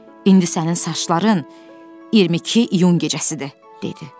İndi sənin saçların 22 iyun gecəsidir, dedi.